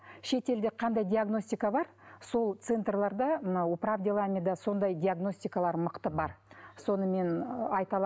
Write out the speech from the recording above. шетелде қандай диагностика бар сол центрлерде мынау управ деламида сондай диагностикалар мықты бар соны мен айта